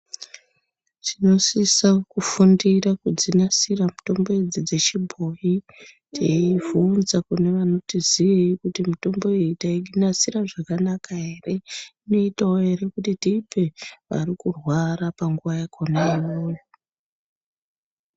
Tinosisa kufundira kudzinasira idzi mitombo idzi chebhoyi teivhunza kunevanoti ziyei kuti mitombo iyi tainasira zvakanaka ere inotawo ere kuti tiipe arikurwara panguwa yakona iyoyo.